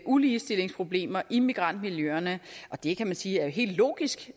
uligestillingsproblemer i migrantmiljøerne og det kan man jo sige er helt logisk